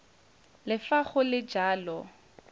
le fa go le jalo